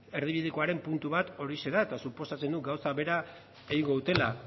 erdibidekoaren puntu bat horixe da eta suposatzen dut gauza bera egingo dutela